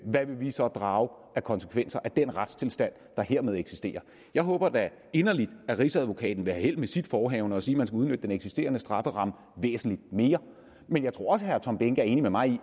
hvad vil vi så drage af konsekvenser af den retstilstand der hermed eksisterer jeg håber da inderligt at rigsadvokaten vil have held med sit forehavende at sige at man skal udnytte den eksisterende strafferamme væsentlig mere men jeg tror også herre tom behnke er enig med mig